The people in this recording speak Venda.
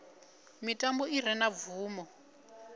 mitambo i re na bvumo